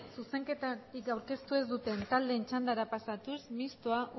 zuzenketarik aurkeztu ez duten taldeen txandara pasatuz mistoa